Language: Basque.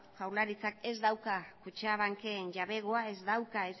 jaurlaritzak ez dauka kutxabanken jabegoa ez dauka